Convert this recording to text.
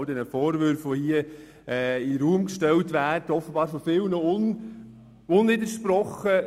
All diese Vorwürfe, die hier in den Raum gestellt wurden, bleiben offenbar von vielen unwidersprochen.